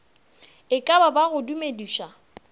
e ka ba go dumediša